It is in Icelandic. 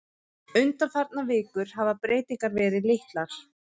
Undanfarnar vikur hafi breytingar verið litlar